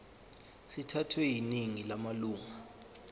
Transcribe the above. sithathwe yiningi lamalunga